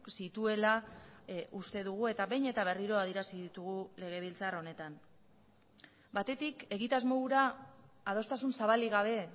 zituela uste dugu eta behin eta berriro adierazi ditugu legebiltzar honetan batetik egitasmo hura adostasun zabalik gabe